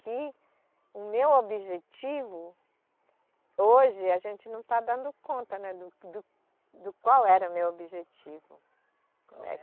Que o meu objetivo. Hoje, a gente não está dando conta, né do, do, do qual era o meu objetivo.